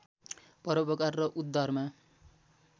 परोपकार र उद्धारमा